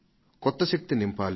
కొత్త శక్తిని నింపాలి